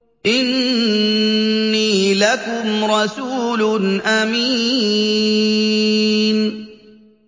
إِنِّي لَكُمْ رَسُولٌ أَمِينٌ